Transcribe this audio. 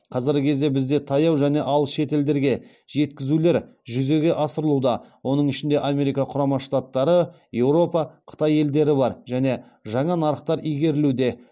қазіргі кезде бізде таяу және алыс шетелдерге жеткізулер жүзеге асырылуда оның ішінде америка құрама штаттары еуропа қытай елдері бар және жаңа нарықтар игерілуде